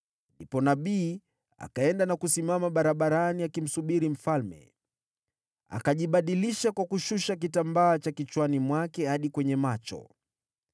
Ndipo nabii akaenda na kusimama barabarani akimsubiri mfalme. Akajibadilisha kwa kushusha kitambaa cha kichwani mwake hadi kwenye macho.